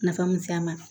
Nafa mu se a ma